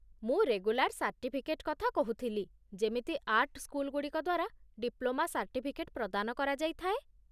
ମୁଁ regular certificate କଥା କହୁଥିଲି, ଯେମିତି ଆର୍ଟ ସ୍କୁଲଗୁଡ଼ିକ ଦ୍ୱାରା ଡିପ୍ଳୋମା ସାର୍ଟିଫିକେଟ ପ୍ରଦାନ କରାଯାଇଥାଏ।